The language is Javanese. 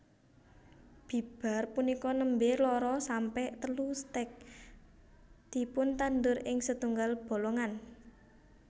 Bibar punika nembé loro sampe telu stèk dipuntandur ing setunggal bolongan